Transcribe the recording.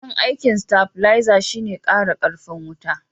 dayan aikin stabileza shi ne in kara karfin wuta